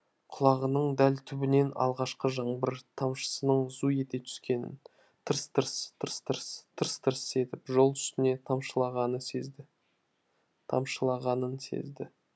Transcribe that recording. құлағының дәл түбінен алғашқы жаңбыр тамшысының зу ете түскенін тырс тырс тырс тырс тырс тырс етіп жол үстіне тамшылағанын сезді